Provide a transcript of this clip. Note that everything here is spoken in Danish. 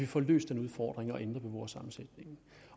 får løst den udfordring